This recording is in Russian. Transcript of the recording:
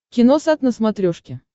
киносат на смотрешке